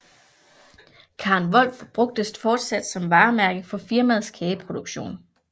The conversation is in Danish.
Karen Volf bruges fortsat som varemærke for firmaets kageproduktion